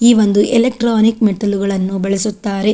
ಈ ಒಂದು ಇಲೆಕ್ಟ್ರಾನಿಕ್ ಮೆಟ್ಟಿಲುಗಳನ್ನು ಬಳಸುತ್ತಾರೆ.